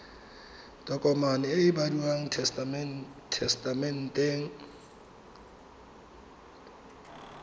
tokomane e e bidiwang tesetamente